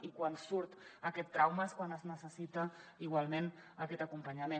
i quan surt aquest trauma és quan es necessita igualment aquest acompanyament